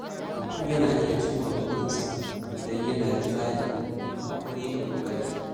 Mutum na iya cimma burinsa idan yana da tsari, haƙuri da ƙoƙari.